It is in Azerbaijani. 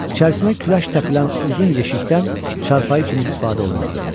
İçərisinə küləş təpilən uzun yeşikdən çarpayı kimi istifadə olunurdu.